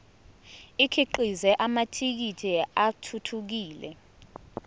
akhiqize amathekisthi athuthukile